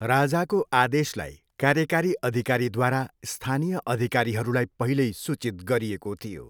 राजाको आदेशलाई कार्यकारी अधिकारीद्वारा स्थानीय अधिकारीहरूलाई पहिल्यै सूचित गरिएको थियो।